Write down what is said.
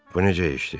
Bu necə işdi?